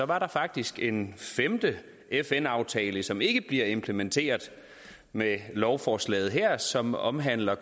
var der faktisk en femte fn aftale som ikke bliver implementeret med lovforslaget her som omhandler